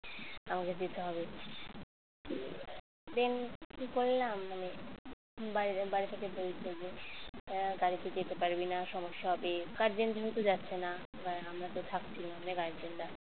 আমাকে যেতে হবে then কি করলাম মানে বাইরে বাড়ি থেকে বলতো যে গাড়িতে যেতে পারবি না সমস্যা হবে guardian যেহেতু যাচ্ছে না এবার আমরা তো থাকছি না আমরা guardian রা